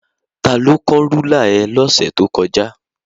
Tani ó kán rúlà ẹ lọ́sẹ̀ tó kọjá?